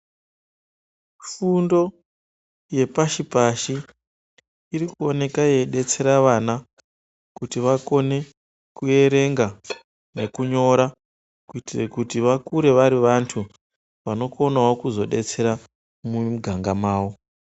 Fundo yepashi-pashi irikuoneka yeidetsera vana kuti vakone kuerenga nekunyora kuitire kuti vakure vari vantu vanokona kuzodetserawo mumiganga mavo.